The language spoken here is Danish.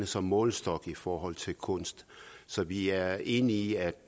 som målestok i forhold til kunst så vi er enige i at